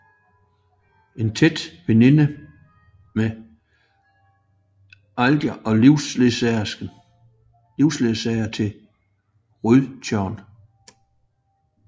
En tæt veninde med Ilder og livsledsager til Rødtjørn